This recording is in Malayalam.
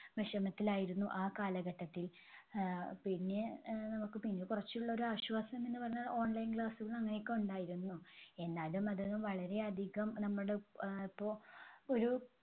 വിഷമത്തിലായിരുന്നു ആ കാലഘട്ടത്തിൽ. ആഹ് പിന്നെ ആഹ് നമുക്ക് പിന്നെ കുറച്ചുള്ളൊരു ആശ്വാസം എന്നുപറഞ്ഞാൽ online class കൾ അങ്ങനെയൊക്കെ ഉണ്ടായിരുന്നു. എന്നാലും അതൊന്നും വളരെ അധികം നമ്മുടെ അഹ് ഇപ്പൊ ഒരു